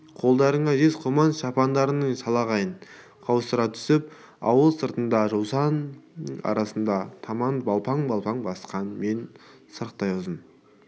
қолдарында жез құман шапандарының шалғайын қаусыра түсіп ауыл сыртындағы жусан арасына таман балпаң-балпаң басқан мен сырықтай ұзын